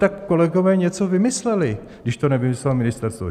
Tak kolegové něco vymysleli, když to nevymyslelo ministerstvo.